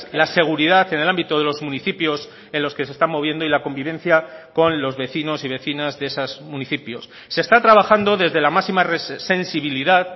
la seguridad en el ámbito de los municipios en los que se están moviendo y la convivencia con los vecinos y vecinas de esos municipios se está trabajando desde la máxima sensibilidad